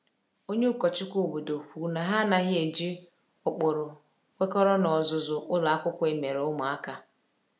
Onye ụkọchukwu obodo kwuru na ha anaghị eji ụkpụrụ kwekọrọ n’ọzụzụ ụlọ akwụkwọ emere ụmụaka.